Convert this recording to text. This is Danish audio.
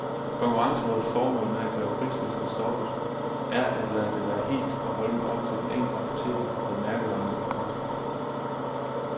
Konkurrencerådets formål med at kræve prislisten stoppet er at lade det være helt og holdent op til den enkelte apoteker, hvad mærkevarerne skal koste.